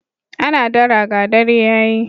Ana dara ga dare ya yi.